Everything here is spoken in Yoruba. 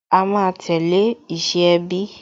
A máa tẹ̀lé ìṣe ẹbí